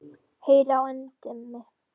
Heyr á endemi.